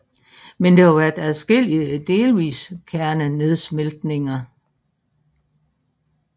Men der har været adskillige delvise kernenedsmeltninger